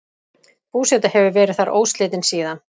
Búseta hefur verið þar óslitin síðan.